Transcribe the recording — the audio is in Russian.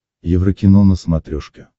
еврокино на смотрешке